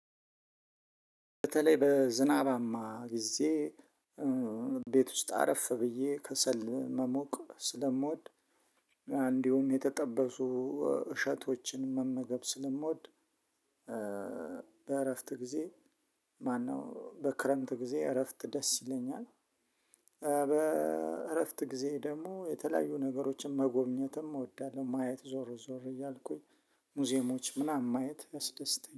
በተለይ በዝናባማ ጊዜ ቤት ውስጥ አረፍ ብዬ ከሰል መሞቅ ስለምወድ እንዲሁም የተጠበሱ እሸቶችን መመገብ ስለምወድ በእረፍት ጊዜ ማነው በክረምት ጊዜ እረፍት ደስ ይለኛል። በእረፍት ጊዜ ደግሞ የተለያዩ ነገሮችን መጎብኘትም እወዳለሁ። ማየት ዞሮ ዞሮ እያልኩኝ ሙዚየሞች ምናምን ማየት ያስደስተኛል።